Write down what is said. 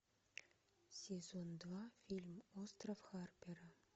сезон два фильм остров харпера